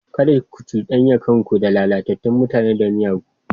Kada ku cudanya kanku da lalatattun mutane da miyagu.